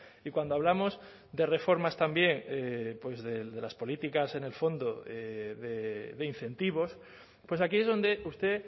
y cuando hablamos de reformas también pues de las políticas en el fondo de incentivos pues aquí es donde usted